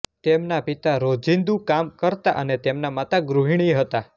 તેમના પિતા રોજિંદું કામ કરતા અને તેમનાં માતા ગૃહિણી હતાં